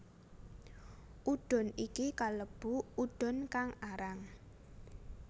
Udon iki kalebu udon kang arang